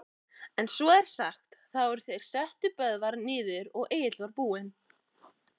En svo er sagt, þá er þeir settu Böðvar niður, að Egill var búinn